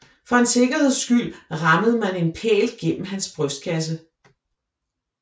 For en sikkerheds skyld rammede man en pæl gennem hans brystkasse